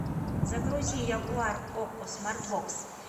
загрузи ягуар окко смарт бокс